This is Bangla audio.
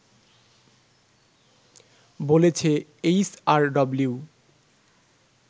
বলেছে এইচআরডব্লিউ